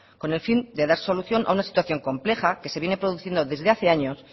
con el fin de dar solución a una situación compleja que se viene produciendo desde hace años